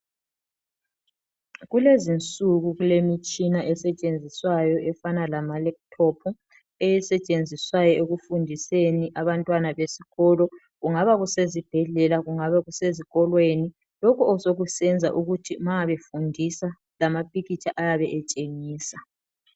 Kulezinsuku kulemitshina esetshenziswayo efana lamalaptop, esetshenziswayo ekufundiseni abantwana besikolo kungaba kusezibhedlela, kungaba kusezikolweni lokhu sokusenza ukuthi ma befundisa lamapikitsha ayabe etshengisa.